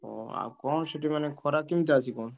ଓହୋ! ଆଉ କଣ ସେଠି ମାନେ ଖରା କେମିତି ଚାଲିଚି କଣ?